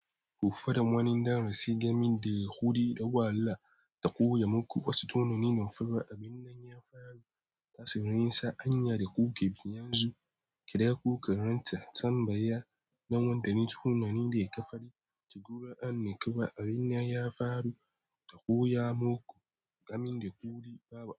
Ko faran wani darasi gami da hudi da wahala da koya maku wasu tunanin fa. Abin nan ya faru, tasirin sa hanya da kuke bi yanzu. Kada ku karanta tambaya nan wanda ne tunani daya ƙafari. Tura an kai ba abin nan ya faru da koya muku gami da kuɗi. Baba.